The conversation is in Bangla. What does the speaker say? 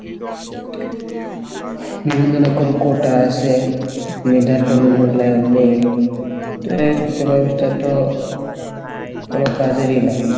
বিভিন্ন রকম কোটা আসে মেধার কোনো মূল্যায়ন নেই তো শিক্ষা ব্যবস্থা তো কোনো কাজেরই না